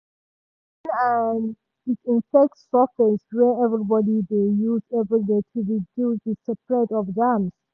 she dey clean and disinfect surface wey everybody dey use every day to reduce the spread of germs.